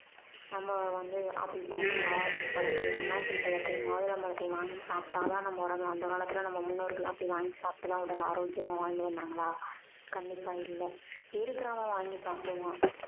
நம்ம வந்து ஆப்பிள் பழத்தையும் ஆரஞ்சு பழத்தையும் அன்னாசி பழத்தையும் மாதுளம் பழத்தையும் வாங்கி சாப்பிட்டாதான் நம்ம உடம்பு அந்த காலத்துல நம்ம முன்னோர்கள் அப்படி வாங்கி சாப்பிட்டு தான் உடல் ஆரோக்கியமா வாழ்ந்து வந்தாங்களா கண்டிப்பா இல்ல இருக்கிறவன் வாங்கி சாப்பிடுவான்